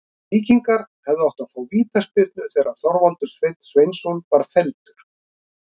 Víkingar hefðu átt að fá vítaspyrnu þegar Þorvaldur Sveinn Sveinsson var felldur.